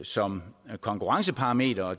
som konkurrenceparameter og